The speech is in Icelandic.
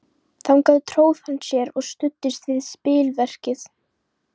Þangað tróð hann sér og studdist við spilverkið.